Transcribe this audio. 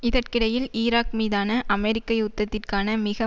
இதற்கிடையில் ஈராக் மீதான அமெரிக்க யுத்தத்திற்கான மிக